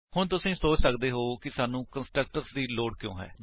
ਹੁਣ ਤੁਸੀ ਸੋਚ ਸੱਕਦੇ ਹੋ ਕਿ ਸਾਨੂੰ ਕੰਸਟਰਕਟਰਸ ਦੀ ਲੋੜ ਕਿਉਂ ਹੈ